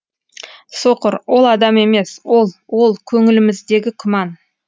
соқыр ол адам емес ол ол көңіліміздегі күмән